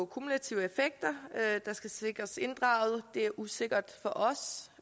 kumulative effekter der skal sikres inddraget det er usikkert for os